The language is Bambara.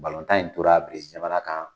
tan in tora Berezi jamana kan